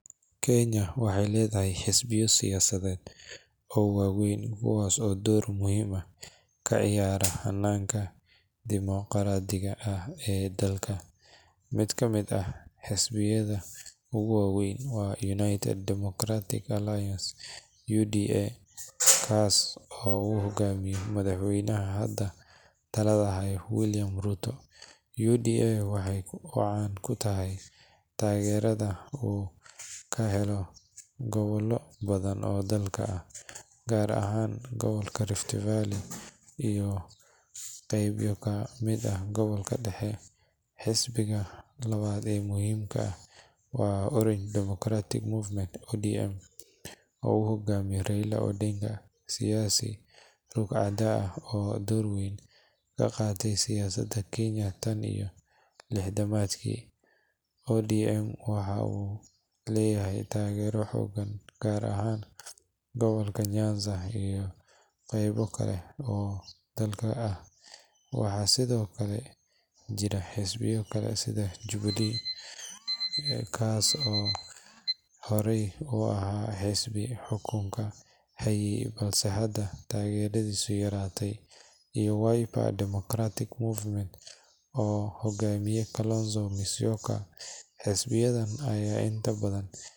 Kenya waxay leedahay xisbiyo siyaasadeed oo waaweyn kuwaas oo door muhiim ah ka ciyaara hannaanka dimoqraadiga ah ee dalka. Mid ka mid ah xisbiyada ugu waa weyn waa United Democratic Alliance (UDA), kaas oo uu hoggaamiyo madaxweynaha hadda talada haya, William Ruto. UDA waxa uu caan ku yahay taageerada uu ka helo gobollo badan oo dalka ah, gaar ahaan gobolka Rift Valley iyo qaybo ka mid ah gobolka dhexe. Xisbiga labaad ee muhiimka ah waa Orange Democratic Movement (ODM), oo uu hoggaamiyo Raila Odinga, siyaasi ruug-cadaa ah oo door weyn ka qaatay siyaasadda Kenya tan iyo lixdamaadkii. ODM waxa uu leeyahay taageero xooggan gaar ahaan gobolka Nyanza iyo qaybo kale oo dalka ah. Waxaa sidoo kale jira xisbiyo kale sida Jubilee Party, kaas oo hore u ahaa xisbi xukunka hayay balse hadda taageeradiisu yaraatay, iyo Wiper Democratic Movement oo uu hogaamiyo Kalonzo Musyoka. Xisbiyadan ayaa inta badan.